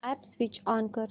app switch on कर